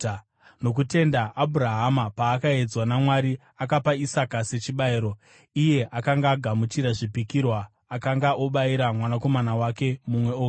Nokutenda Abhurahama, paakaedzwa naMwari, akapa Isaka sechibayiro. Iye akanga agamuchira zvipikirwa akanga obayira mwanakomana wake mumwe oga,